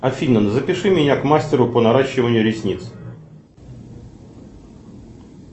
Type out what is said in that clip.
афина запиши меня к мастеру по наращиванию ресниц